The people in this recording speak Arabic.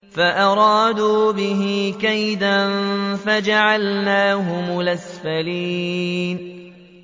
فَأَرَادُوا بِهِ كَيْدًا فَجَعَلْنَاهُمُ الْأَسْفَلِينَ